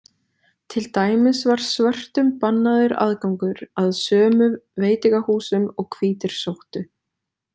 Til dæmis var svörtum bannaður aðgangur að sömu veitingahúsum og hvítir sóttu.